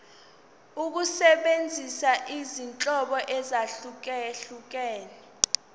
ukusebenzisa izinhlobo ezahlukehlukene